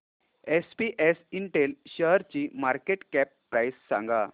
SPS Intel शेअरची market cap price सांगा